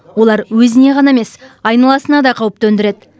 олар өзіне ғана емес айналасына да қауіп төндіреді